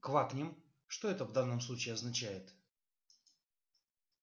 квакнем это что в данном случае означает